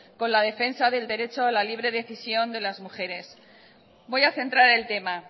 con la defensa del derecho a la libre decisión de las mujeres voy a centrar el tema